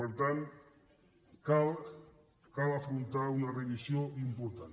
per tant cal afrontar una revisió important